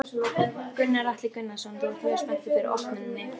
Gunnar Atli Gunnarsson: Þú ert mjög spenntur fyrir opnuninni?